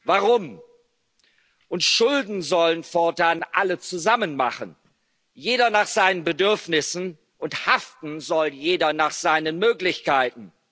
Steuern. Warum? Und Schulden sollen fortan alle zusammen machen, jeder nach seinen Bedürfnissen, und haften soll jeder nach seinen Möglichkeiten.